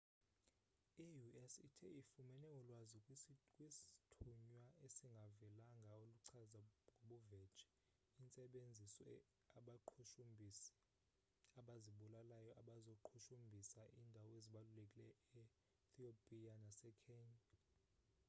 i-u.s ithe ifumene ulwazi kwisthunywa esingavelanga oluchaza ngobuvetshe intsebenziso abaqhushumbhisi abazibulalayo bazoqhushumbhisa iindawo ezibalulekileyo e-thiopiya nase-kenya